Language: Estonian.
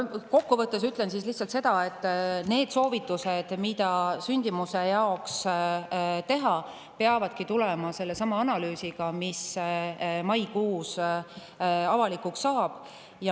Kokku võttes ütlen lihtsalt seda, et need soovitused, mida sündimuse jaoks teha, peavadki tulema sellestsamast analüüsist, mis maikuus avalikuks saab.